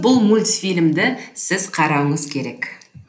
қысқасы бұл мультфильмді сіз қарауыңыз керек